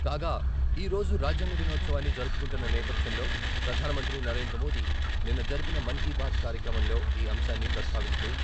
కాగా, ఈరోజు రాజ్యాంగ దినోత్సవాన్ని జరుపుకుంటున్న నేపథ్యంలో ప్రధాన మంత్రి నరేంద్ర మోదీ నిన్న జరిపిన మన్ కీ బాత్ కార్యక్రమంలో ఈ అంశాన్ని ప్రస్తావిస్తూ...